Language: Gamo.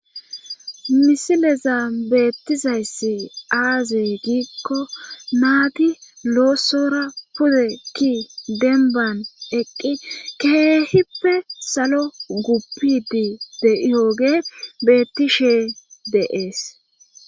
misileza beettizayss aazee giikko naati loosora pude ki denban eqqi keehippe salo guppidi de'iyooge bettishee de'ees